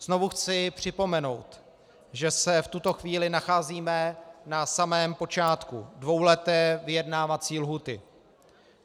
Znovu chci připomenout, že se v tuto chvíli nacházíme na samém počátku dvouleté vyjednávací lhůty.